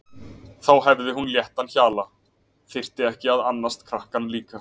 Þá hefði hún léttan hala, þyrfti ekki að annast krakkann líka.